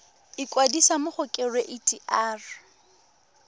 ikwadisa mo go kereite r